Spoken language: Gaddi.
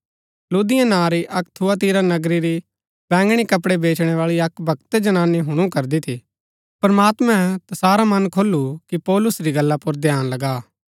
लुदिया नां री अक्क थुआतीरा नगरा री बैंगणी कपड़ै बेचनैबाळी अक्क भक्त जनानी हुणु करदी थी प्रमात्मैं तैसारा मन खोलू कि पौलुस री गल्ला पुर ध्यान लगा